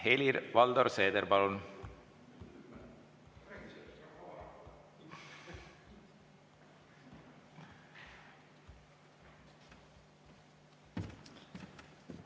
Helir-Valdor Seeder, palun!